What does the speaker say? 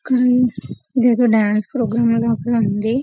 ఇక్కడ ఎదో dance programme లా ఉంది .